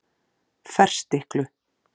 Ferstiklu